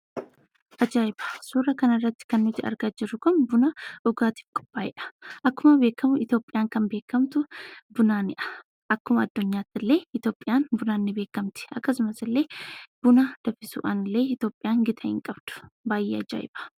Aja'ibaa! Suuraa kana irratti kan nuti argaa jiru kun Bunna dhugaattiif qopha'edha. Akkuma beekamu Itoophiyaan kan beekamtu Bunnaaniidha. Akkuma adduunyatti illee Itoophiyaan Bunnaan ni beekamtti. Akkasumaas illee Bunna danfisuudhaan Itoophiyaan qixaa hin qabdu. Baay'ee aja'ibaa!